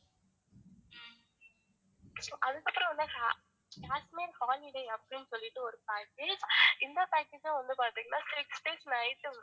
Kashmir holiday அப்படின்னு சொல்லிட்டு ஒரு package இந்த package ல வந்து பாத்திங்கன்னா six days night